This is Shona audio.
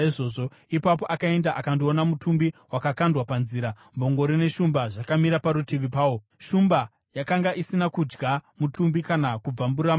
Ipapo akaenda akandoona mutumbi wakakandwa panzira, mbongoro neshumba zvakamira parutivi pawo. Shumba yakanga isina kudya mutumbi kana kubvambura mbongoro.